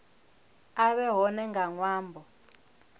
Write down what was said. a vhe hone nga ṅwambo